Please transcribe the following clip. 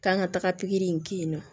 K'an ka taga pikiri in kɛ yen nɔ